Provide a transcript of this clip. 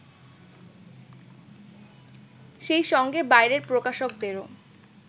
সেই সঙ্গে বাইরের প্রকাশকদেরও